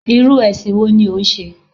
Irú èsìn wo ni o n se?